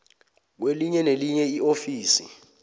kwelinye nelinye iofisi